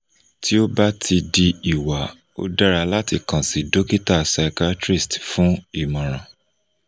ti o ba ti di iwa o dara lati kan si dokita psychiatrist fun imoran